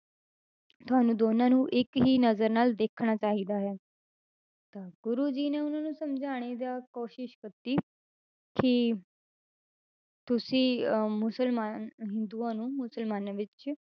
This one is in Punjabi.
ਤੁਹਾਨੂੰ ਦੋਨਾਂ ਨੂੰ ਇੱਕ ਹੀ ਨਜ਼ਰ ਨਾਲ ਦੇਖਣਾ ਚਾਹੀਦਾ ਹੈ, ਤਾਂ ਗੁਰੂ ਜੀ ਨੇ ਉਹਨਾਂ ਨੂੰ ਸਮਝਾਉਣੇ ਦਾ ਕੋਸ਼ਿਸ਼ ਕੀਤੀ ਕਿ ਤੁਸੀਂ ਅਹ ਮੁਸਲਮਾਨ ਹਿੰਦੂਆਂ ਨੂੰ ਮੁਸਲਮਾਨਾਂ ਵਿੱਚ